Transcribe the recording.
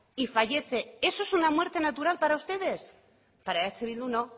y fallece eso es una muerte natural para ustedes para eh bildu no